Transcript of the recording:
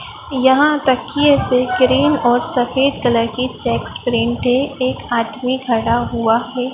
यहां तकिये पे ग्रीन और सफेद कलर की चेक्स प्रिन्ट है एक आदमी खड़ा हुआ है।